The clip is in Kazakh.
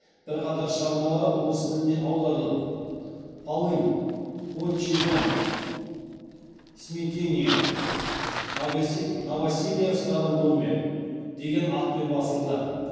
бірқатар шығармалары орыс тіліне аударылып полынь отчий дом смятение новоселье в старом доме деген атпен басылды